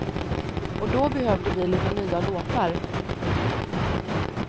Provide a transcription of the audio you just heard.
Och då behövde vi lite nya låtar.